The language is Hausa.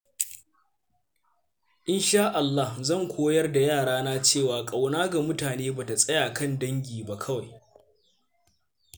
Insha Allah, zan koyar da yarana cewa ƙauna ga mutane ba ta tsaya kan dangi ba kawai.